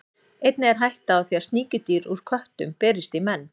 Einnig er hætta á því að sníkjudýr úr köttum berist í menn.